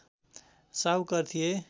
साहुकार थिए